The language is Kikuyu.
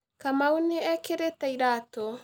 Kamau nĩ ekĩrĩte iratũ